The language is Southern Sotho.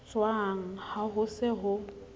jwang ha ho se ho